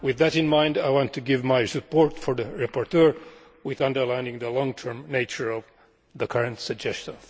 With that in mind, I want to give my support to the rapporteur while underlining the long term nature of the current suggestion.